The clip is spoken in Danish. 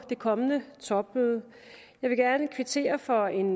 det kommende topmøde jeg vil gerne kvittere for en